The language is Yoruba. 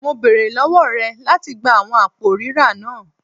Mo beere lọwọ rẹ lati gba awọn apo rira naa